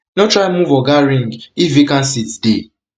no try move oga ring if vacant seats dey